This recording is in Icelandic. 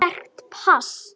Sterkt pass.